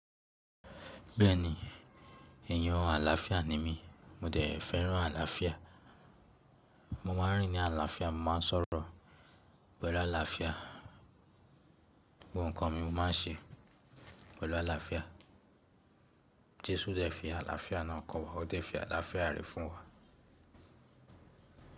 Bẹ́ẹ̀ni, èèyàn àlàáfíà ni mí, mo dẹ̀ fẹ́ràn àlàáfíà, mo máa ń rìn ní àlàáfíà, mo máa ń sọ̀rọ̀ pẹ̀lú àlàáfíà, gbogbo nǹkan mi mo máa ń ṣe pẹ̀lú àlàáfíà. Jésù dẹ̀ fi àlàáfíà náà kọ́ wa, ó dẹ̀ fi àlàáfíà rẹ̀ fún wa.